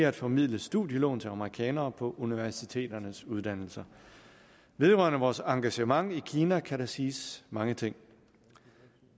at formidle studielån til amerikanere på universiteternes uddannelser vedrørende vores engagement i kina kan der siges mange ting